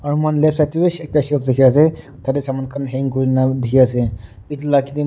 r moikhan left side tebi ekta shelf dikhi ase tatey saman khan hang kurina dikhi ase etu la--